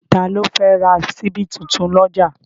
Ta ló fẹ́ ra ṣíbí tuntun lọ́jà?